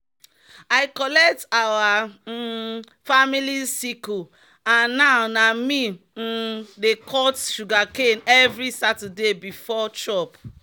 "i collect our um family sickle and now na me um dey cut sugarcane every saturday before chop."